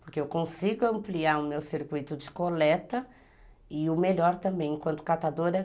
Porque eu consigo ampliar o meu circuito de coleta e o melhor também, enquanto catadora